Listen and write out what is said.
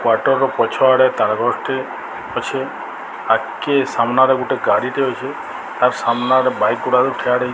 quarter ର ପଛ ଆଡ଼େ ଗଛ ଟେ ଅଛି ଆଖି ସାମ୍ନା ରେ ଗୋଟେ ଗାଡ଼ି ଟେ ଅଛି ଆଉ ସାମ୍ନା ରେ ବାଇକ ଗୁଡ଼ାକ ଠିଆ --